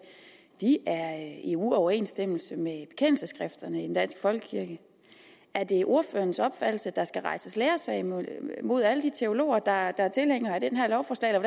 er i uoverensstemmelse med bekendelsesskrifterne i den danske folkekirke er det ordførerens opfattelse at der skal rejses læresag mod alle de teologer der er tilhængere af det her lovforslag